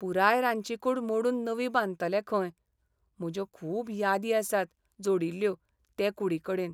पुराय रांदची कूड मोडून नवी बांदतले खंय. म्हज्यो खूब यादी आसात जोडिल्ल्यो ते कुडीकडेन!